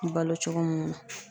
Balo cogo munnu na.